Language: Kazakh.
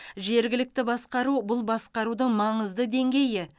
жергілікті басқару бұл басқарудың маңызды деңгейі